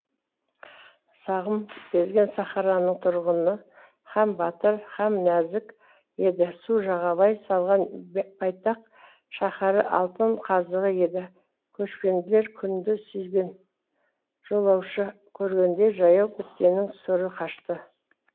сағым кезген сахараның тұрғыны һәм батыр һәм нәзік еді су жағалай салған байтақ шаһары алтын қазығы еді көшпенділер күнді сүйген жолаушы көргенде жаяу біткеннің сұры қашты